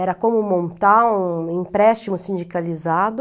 Era como montar um empréstimo sindicalizado.